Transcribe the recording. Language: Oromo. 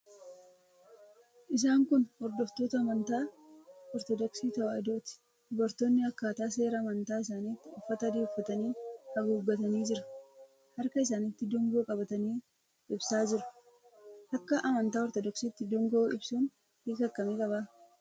Isaan kun hordoftoota amantaa Ortodoksii Tewaahidooti. Dubartoonni akkaataa seera amantaa isaaniitti uffata adii uffatanii, haguuggatanii jira. Harka isaaniitti dungoo qabatanii ibsaa jiru. Akka amantaa Ortodoksiitti dungoo ibsuun hiika akkamii qaba?